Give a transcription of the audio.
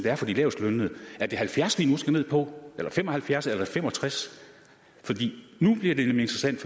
er for de lavestlønnede er det halvfjerds vi nu skal ned på eller fem og halvfjerds eller 65 nu bliver det nemlig interessant